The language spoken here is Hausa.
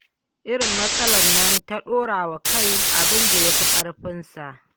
Irin matsalar nan ta ɗora wa kai abin da ya fi ƙarfinsa.